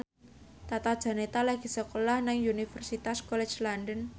Tata Janeta lagi sekolah nang Universitas College London